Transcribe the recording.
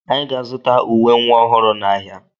Anyị ga-azụta uwe nwa ọhụrụ n'ahịa.